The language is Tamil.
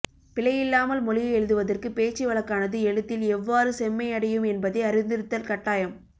பிழையில்லாமல் மொழியை எழுதுவதற்கு பேச்சு வழக்கானது எழுத்தில் எவ்வாறு செம்மையடையும் என்பதை அறிந்திருத்தல் கட்டாயம்